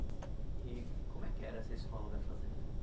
E como é que era essa escola da fazenda?